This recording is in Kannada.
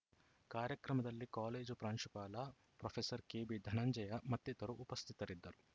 ಕಾರ್ಯಕ್ರಮದಲ್ಲಿ ಕಾಲೇಜು ಪ್ರಾಂಶುಪಾಲ ಪ್ರೊಫೆಸರ್ ಕೆಬಿಧನಂಜಯ ಮತ್ತಿತರರು ಉಪಸ್ಥಿತರಿದ್ದರು